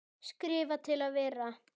Skrifa til að vera?